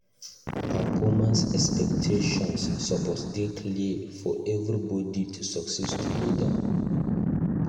Performance expectations suppose dey clear for everybody to succeed together.